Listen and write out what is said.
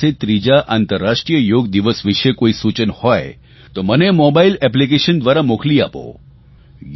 તમારી પાસે ત્રીજા આંતરરાષ્ટ્રીય યોગ દિવસ વિશે કોઇ સૂચન હોય તો મને મોબાઇલ એપ્લીકેશન દ્વારા મને મોકલી આપો